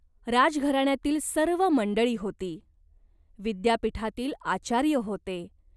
राजघराण्यातील सर्व मंडळी होती. विद्यापीठातील आचार्य होते.